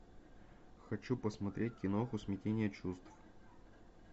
хочу посмотреть киноху смятение чувств